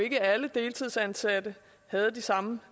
at ikke alle deltidsansatte havde de samme